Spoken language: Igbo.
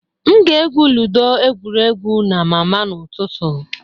M ga-egwu ludo egwuregwu na mama m ụtụtụ.